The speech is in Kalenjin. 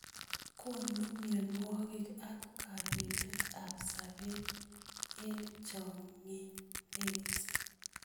Konu mnyonwokik ak kabetet ab sabet eng chokyinet.